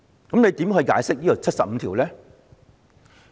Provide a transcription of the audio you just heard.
主席，你如何解釋第七十五條呢？